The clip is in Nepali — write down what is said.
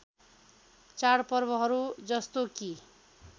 चाडपर्वहरू जस्तो कि